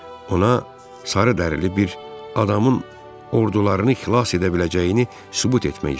Ona sarı dərili bir adamın ordularını xilas edə biləcəyini sübut etmək istəyirdim.